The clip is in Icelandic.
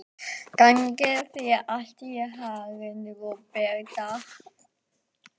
Gangi þér allt í haginn, Róberta.